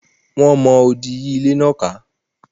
Wọ́n mọ odì yí ilé náà ká.